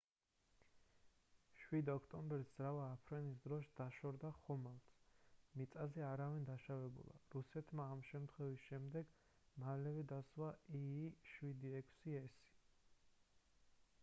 7 ოქტომბერს ძრავა აფრენის დროს დაშორდა ხომალდს მიწაზე არავინ დაშავებულა რუსეთმა ამ შემთხვევის შემდეგ მალევე დასვა il-76s